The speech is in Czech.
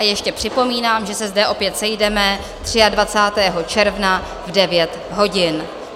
A ještě připomínám, že se zde opět sejdeme 23. června v 9 hodin.